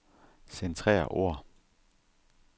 Centrer ord.